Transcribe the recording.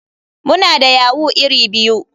Muna da yahoo iri biyu.